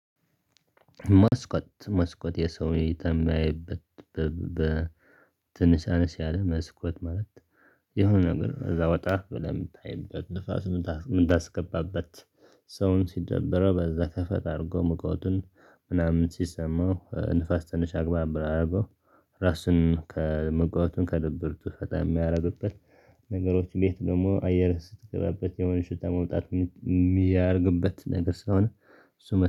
መስኮት መስኮት የሰው እይታ የምታይበት ትንሽ አነስ ያለ መስኮት ማለት የሆነ ነገር እዛ ወጣ ብለህ የምታይበት ንፋስ ምታስገባበት ሰውን ሲደብረው በዛ ከፈት አድርጎ ሙቀቱን ምናምን ሲሰማው ንፋስ ትንሽ አግባብ አደረገው ራሱን ከመጋባቱን ከድብርቱ በጣም የሚያደርግበት ነገሮች እንዴት ደግሞ አየር ስትገባበት የሆነ ሽታ መውጣት የሚያደርግበት ነገር ስለሆነ። እሱ